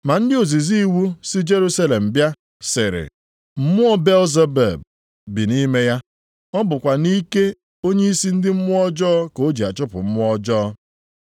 Ma ndị ozizi iwu si Jerusalem bịa sịrị, “Mmụọ Belzebub bi nʼime ya! Ọ bụkwa nʼike onyeisi ndị mmụọ ọjọọ ka o ji achụpụ mmụọ ọjọọ.”